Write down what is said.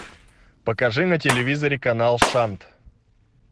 покажи на телевизоре канал шант